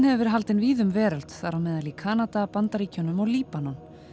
hefur verið haldin víða um veröld þar á meðal í Kanada Bandaríkjunum og Líbanon